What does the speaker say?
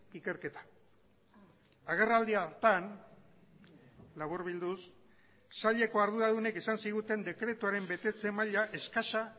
ikerketa agerraldi hartan laburbilduz saileko arduradunek esan ziguten dekretuaren betetze maila eskasa